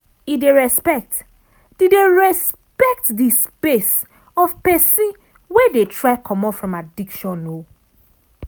e dey respect di dey respect di space of pesin wey dey try comot from addiction.